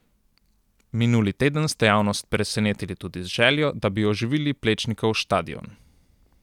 Minuli teden ste javnost presenetili tudi z željo, da bi oživili Plečnikov štadion.